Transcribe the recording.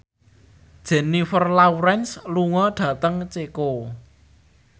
Jennifer Lawrence lunga dhateng Ceko